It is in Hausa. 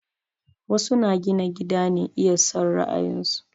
Wasu na gina gida ne iya son ra'ayin su